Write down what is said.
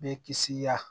Bɛ kisi ya